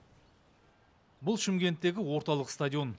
бұл шымкенттегі орталық стадион